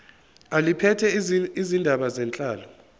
eliphethe izindaba zenhlalo